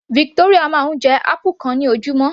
Victoria máa ń jẹ apple kan ní ojúmọ́